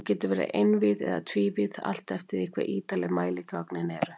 Hún getur verið einvíð eða tvívíð, allt eftir því hve ítarleg mæligögnin eru.